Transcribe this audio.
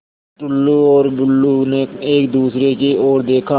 टुल्लु और बुल्लु ने एक दूसरे की ओर देखा